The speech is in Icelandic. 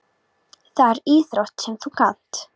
Það er íþrótt sem þú kannt.